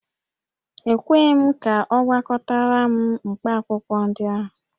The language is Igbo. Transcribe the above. E kweghị m ka ọ gwakọtara m mkpaakwụkwọ ndị ahụ